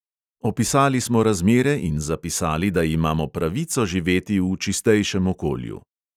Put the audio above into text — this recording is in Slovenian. Opisali smo razmere in zapisali, da imamo pravico živeti v čistejšem okolju.